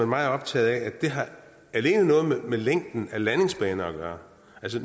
meget optaget af at det alene har noget med længden af landingsbaner at gøre